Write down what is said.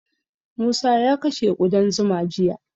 Musa ya kashe ƙudan zuma jiya.